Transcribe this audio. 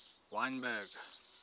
wynberg